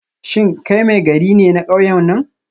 Shin kai Maigari ne na kauyen nan?